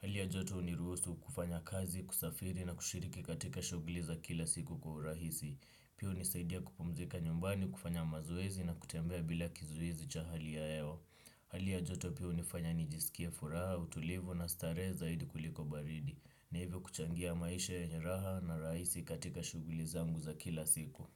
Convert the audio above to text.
Hali ya joto huniruhusu kufanya kazi, kusafiri na kushiriki katika shughuli za kila siku kwa urahisi. Pia hunisaidia kupumzika nyumbani, kufanya mazoezi na kutembea bila kizuizi cha hali ya hewa. Hali ya joto pia hunifanya nijisikie furaha, utulivu na starehe zaidi kuliko baridi. Na hivyo kuchangia maisha yenye raha na rahisi katika shughuli zangu za kila siku.